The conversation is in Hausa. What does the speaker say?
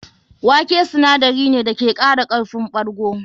Wake sinadari ne da ke kara karfin ɓargo.